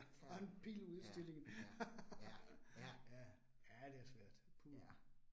Ja, ja, ja, ja, ja. Ja